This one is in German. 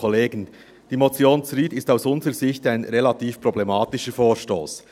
Die Motion Zryd ist aus unserer Sicht ein relativ problematischer Vorstoss.